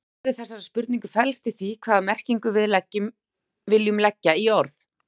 Svarið við þessari spurningu felst í því hvaða merkingu við viljum leggja í orð.